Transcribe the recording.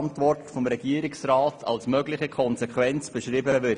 Diese VR-Mitglieder sollen und dürfen keine Abgeordneten des Kantons sein.